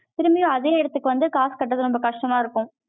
திரும்பியும், அதே இடத்துக்கு வந்து, காசு கட்டுறது, ரொம்ப கஷ்டமா இருக்கும்